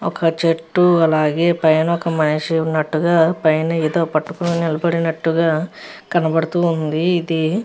ఒక చెట్టు అలాగే పైన ఒక మనిషి ఉన్నట్టుగా పైన ఏదో పట్టుకొని నిలబడినట్టుగా కనపడుతూ ఉంది ఇది --